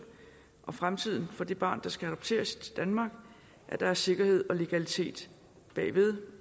og fremtiden for det barn der skal adopteres til danmark er der sikkerhed og legalitet bagved